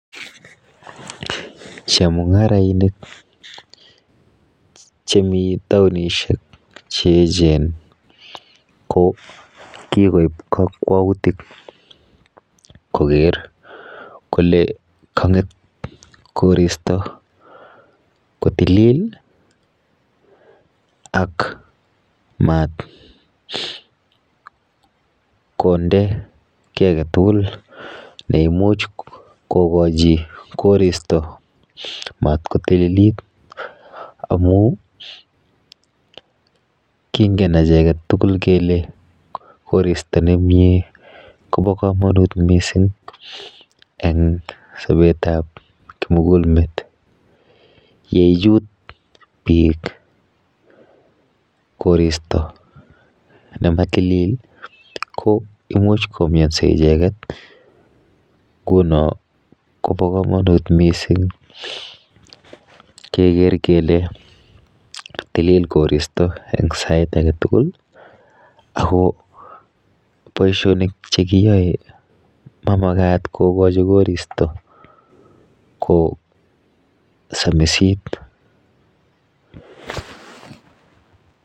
Chemungarainik chemiten taonisiek cheechen ko kigoib kokwautik koker kole konget koristo kotilil ak maat konde kii agetugul neimuch kogochi koristo matgotililit amun kingen agek tugul kele koristo nemie Kobokomanut missing' en sobet ab kimugul met yeyut biik koristo nematilil koimuch komiosi icheget kunan Kobokomanut missing keger kele katilil koristo sait agetugul ago boisionik chegiyoe komamagat kogachi koristo kosamisit